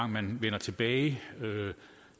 man vender tilbage